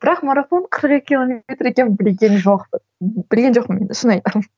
бірақ марафон қырық екі километр екенін білген жоқпын білген жоқпын енді шын айтамын